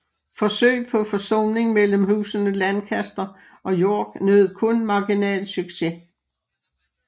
Forsøg på forsoning mellem husene Lancaster og York nød kun marginal succes